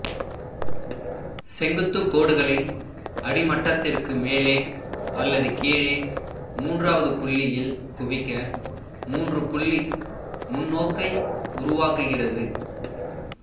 செங்குத்து கோடுகளை அடிமட்டத்திற்கு மேலே அல்லது கீழே மூன்றாவது புள்ளியில் குவிக்க மூன்றுபுள்ளி முன்னோக்கை உருவாக்குகிறது